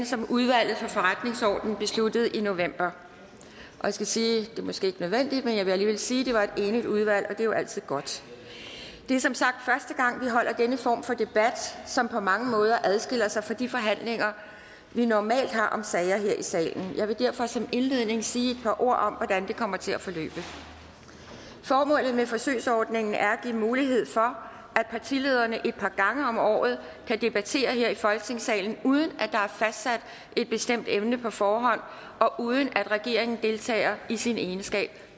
som udvalget for forretningsordenen besluttede i november jeg skal sige det er måske ikke nødvendigt men jeg vil alligevel sige at det var et enigt udvalg og det er jo altid godt det er som sagt første gang vi holder denne form for debat som på mange måder adskiller sig fra de forhandlinger vi normalt har om sager her i salen jeg vil derfor som indledning sige et par ord om hvordan det kommer til at forløbe formålet med forsøgsordningen er at give mulighed for at partilederne et par gange om året kan debattere her i folketingssalen uden at der er fastsat et bestemt emne på forhånd og uden at regeringen deltager i sin egenskab